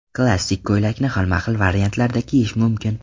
Klassik ko‘ylakni xilma-xil variantlarda kiyish mumkin.